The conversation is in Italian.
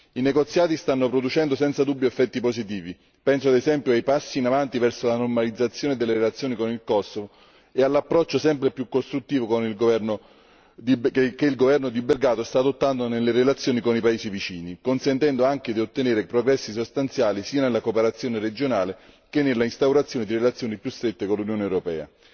I negoziati stanno producendo senza dubbi effetti positivi penso ad esempio ai passi in avanti verso la normalizzazione delle relazioni con il Kosovo e all'approccio sempre più costruttivo che il governo di Belgrado sta adottando nelle relazioni con i paesi vicini, consentendo anche di ottenere progressi sostanziali sia nella cooperazione regionale che nella instaurazione di relazioni più strette con l'Unione europea.